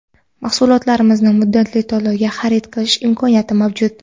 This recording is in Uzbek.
Mahsulotlarimizni muddatli to‘lovga xarid qilish imkoniyati mavjud.